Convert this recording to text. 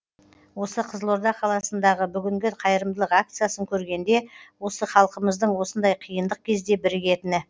осы қызылорда қаласындағы бүгінгі қайырымдылық акциясын көргенде осы халқымыздың осындай қиындық кезде бірігетіні